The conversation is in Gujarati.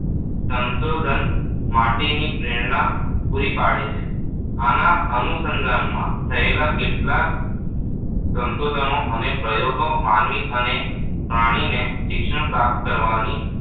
સંશોધન માટેની પ્રેરણા પૂરી પાડી છે. આના અનુસંધાનમાં થયેલા કેટલાંક સંશોધનો અને પ્રયોગો માનવી અને પ્રાણીની શિક્ષણ પ્રાપ્ત કરવાની